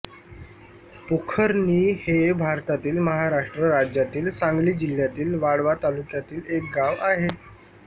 पोखरणी हे भारतातील महाराष्ट्र राज्यातील सांगली जिल्ह्यातील वाळवा तालुक्यातील एक गाव आहे